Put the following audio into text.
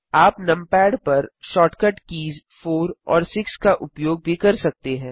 आप नमपैड पर shortcut keys 4 और 6 का उपयोग भी कर सकते हैं